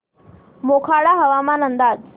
मोखाडा हवामान अंदाज